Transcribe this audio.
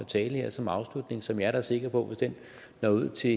tale her som afslutning som jeg da er sikker på hvis den når ud til